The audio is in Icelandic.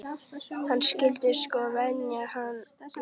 Hann skyldi sko venja hann vel.